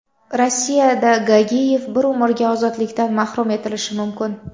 Rossiyada Gagiyev bir umrga ozodlikdan mahrum etilishi mumkin.